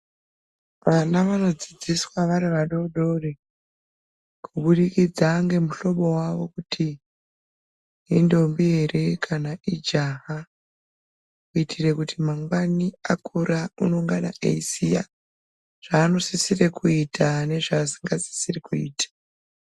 Vana vanodzidziswa vari vadodori kubudikidza ngemuhlobo vavo kuti indombi ere kana ijaha. Kuitire kuti mangwani akura unongana eiziya zvanosisira kuita nezvaasingasisiri kuita.